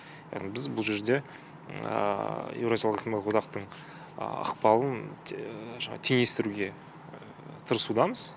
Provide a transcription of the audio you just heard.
яғни біз бұл жерде еуразиялық экономикалық одақтың ықпалын жаңағы теңестіруге тырысудамыз